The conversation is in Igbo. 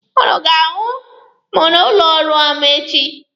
Ụnụ ọ ga-ahụ m n'ụlọ ọrụ m echi?